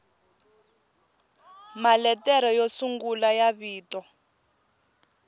maletere yo sungula ya vito